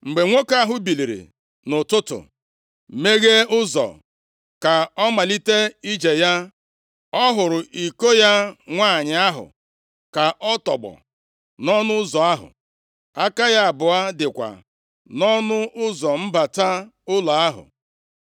Mgbe nwoke ahụ biliri nʼụtụtụ, meghee ụzọ ka ọ malite ije ya, ọ hụrụ iko ya nwanyị ahụ ka ọ tọgbọ nʼọnụ ụzọ ahụ. Aka ya abụọ dịkwa nʼọnụ ụzọ mbata ụlọ ahụ.